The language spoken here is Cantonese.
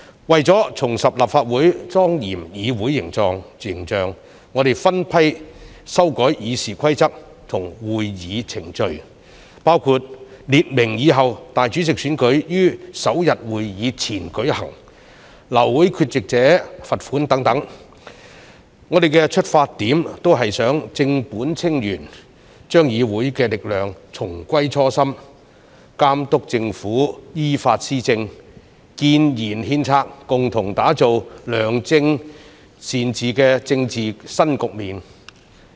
為重拾立法會莊嚴議會形象，我們分批修改《議事規則》和會議程序，包括列明以後立法會主席選舉於首次會議前舉行、流會缺席者罰款等，我們的出發點都是想正本清源，把議會的力量重歸初心，監督政府依法施政，建言獻策，共同打造良政善治的政治新局面。